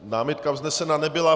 Námitka vznesena nebyla.